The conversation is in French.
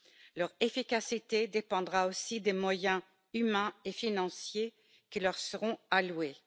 Leur efficacité dépendra aussi des moyens humains et financiers qui leur seront alloués.